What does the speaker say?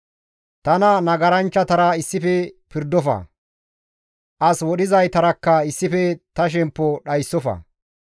Tana nagaranchchatara issife pirdofa; as wodhizaytarakka issife ta shemppo dhayssofa.